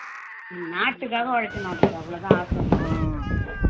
நாட்டுக்காக உழைக்கணும் அதுக்கு அவ்வளவுதான் ஆசை அதுக்கு